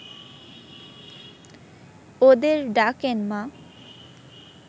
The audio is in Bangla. ওদের ডাকেন মা